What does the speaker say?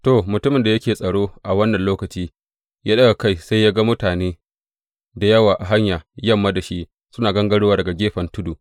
To, mutumin da yake tsaro a wannan lokaci ya ɗaga kai sai ya ga mutane da yawa a hanya, yamma da shi, suna gangarowa daga gefen tudu.